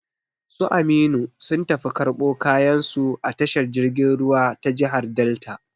Su Aminu sun tafi karbo kayan su a tashar jirgin ruwa ta jigar Delta